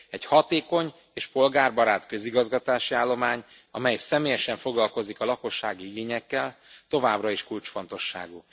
Egy hatékony és polgárbarát közigazgatási állomány, amely személyesen foglalkozik a lakossági igényekkel, továbbra is kulcsfontosságú.